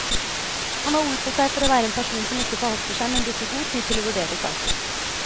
Han har ord på seg for å være en person som ikke forhaster seg, men bruker god tid til å vurdere saker.